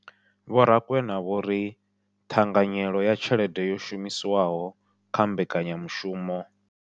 Vho Rakwena vho ri ṱhanganyelo ya tshelede yo shumiswaho kha mbekanya mushumo